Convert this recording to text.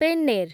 ପେନ୍ନେର୍